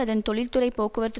அதன் தொழில்துறை போக்குவரத்து